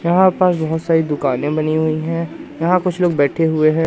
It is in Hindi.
यहां पर बहोत सारी दुकानें बनी हुई हैं यहां कुछ लोग बैठे हुए हैं।